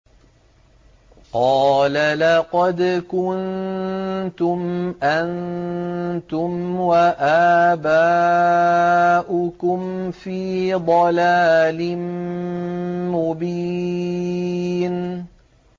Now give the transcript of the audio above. قَالَ لَقَدْ كُنتُمْ أَنتُمْ وَآبَاؤُكُمْ فِي ضَلَالٍ مُّبِينٍ